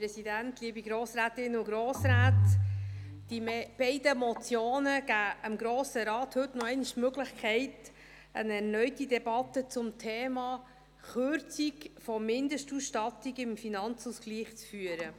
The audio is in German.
Die beiden Motionen geben dem Grossen Rat heute noch einmal die Möglichkeit, eine erneute Debatte zum Thema Kürzung der Mindestausstattung im Finanzausgleich zu führen.